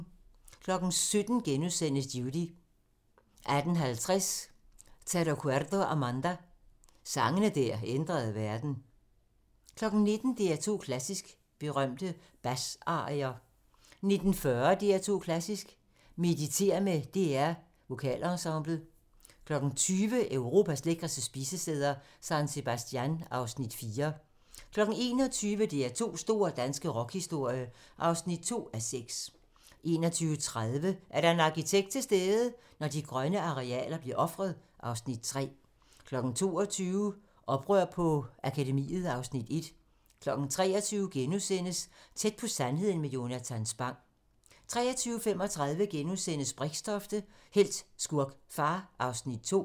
17:00: Judy * 18:50: Te Recuerdo Amanda - sange der ændrede verden 19:00: DR2 Klassisk: Berømte basarier 19:40: DR2 Klassisk: Mediter med DR Vokalensemblet 20:00: Europas lækreste spisesteder - San Sebastian (Afs. 4) 21:00: DR2's store danske rockhistorie (2:6) 21:30: Er der en arkitekt til stede? - Når de grønne arealer bliver ofret (Afs. 3) 22:00: Oprør på Akademiet (Afs. 1) 23:00: Tæt på sandheden med Jonatan Spang * 23:35: Brixtofte – helt, skurk, far (Afs. 2)*